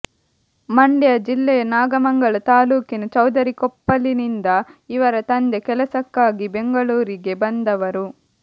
ಮಂಡ್ಯ ಜಿಲ್ಲೆಯ ನಾಗಮಂಗಲ ತಾಲ್ಲೂಕಿನ ಚೌದರಿಕೊಪ್ಪಲಿನಿಂದ ಇವರ ತಂದೆ ಕೆಲಸಕ್ಕಾಗಿ ಬೆಂಗಳೂರಿಗೆ ಬಂದವರು